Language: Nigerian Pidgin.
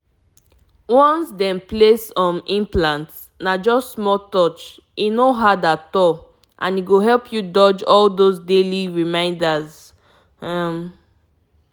implant fit change how your blood dey flow small but e still help you avoid all those daily reminders. actually na better choice.